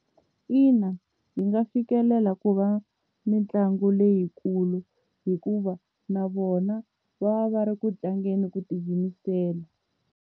Ina yi nga fikelela ku va mitlangu leyikulu hikuva na vona va va va ri ku tlangeni ku tiyimisela.